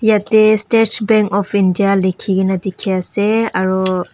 ete stage bank of india likhi kene dikhi ase aru.